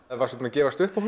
varstu búinn að gefast upp á